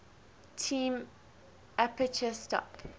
term aperture stop